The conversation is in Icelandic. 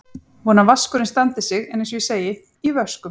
Vona að vaskurinn standi sig en eins og ég segi: í vöskum.